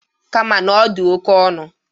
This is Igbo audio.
Kama na ọ dị oke ọnụ.